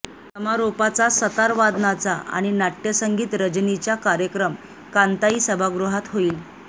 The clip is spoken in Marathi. समारोपाचा सतार वादनाचा आणि नाट्यसंगीत रजनीच्या कार्यक्रम कांताई सभागृहात होईल